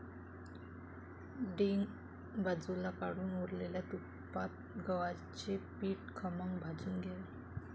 डिंक बाजूला काढून उरलेल्या तुपात गव्हाचे पीठ खमंग भाजून घ्यावे.